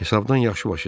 Hesabdan yaxşı başı çıxır.